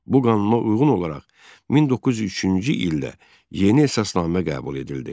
Bu qanuna uyğun olaraq 1903-cü ildə yeni əsasnamə qəbul edildi.